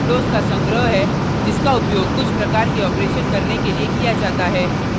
workspace windows का संग्रह है जिसका उपयोग कुछ प्रकार के operations करने के लिए किया जाता है